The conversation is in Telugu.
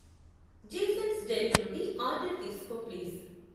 జేసన్స్ డెలి నుండి ఆర్డర్ తీసుకో ప్లీజ్